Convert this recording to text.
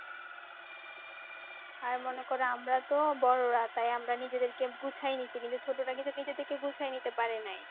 আর মনে করো আমরা তো বড়রা তাই আমরা নিজেদের কে গুছায় নিয়েছি কিন্তু ছোট রা কিন্তু নিজেদেরকে গুছায় নিতে পারে নাই।